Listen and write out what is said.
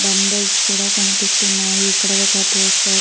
డంబులేస్ కూడ కనిపిస్తున్నాయి. ఇక్కడ ఒక పోస్టర్ --